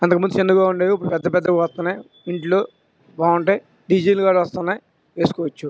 అంతకుముందు చిన్నగా ఉండేది ఇప్పుడు పెద్ధ పెద్ధ గా వస్తున్నాయి. ఇంట్లో బాగుంటాయి. డిసిల్లు గా వుస్తున్నాయి వేసుకోవచ్చు.